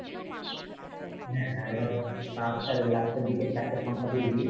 হ্যাঁ last এর last এর দিকের চারটে সংখ্যা তুই দিবি,